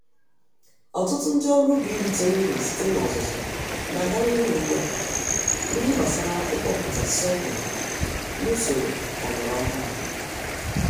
Ọtụtụ ndị ọrụ ubi ritere uru site n'ọzụzụ n'aga n'ihu ùgbúà, n'ihe gbásárá ịkọpụta sorghum nusoro ọlọrọ ọhụrụ